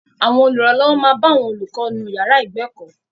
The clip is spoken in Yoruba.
Àwọn olùrànlọ́wọ́ máa bá àwọn olùkọ́ nú ìyàrá ìgbẹ̀kọ́.